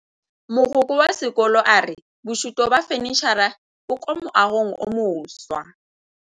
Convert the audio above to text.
Mogokgo wa sekolo a re bosutô ba fanitšhara bo kwa moagong o mošwa.